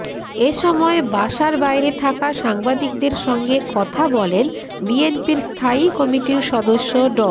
এ সময় বাসার বাইরে থাকা সাংবাদিকদের সঙ্গে কথা বলেন বিএনপির স্থায়ী কমিটির সদস্য ড